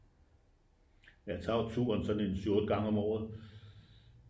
jeg tager jo turen sådan en 7 8 gangen om året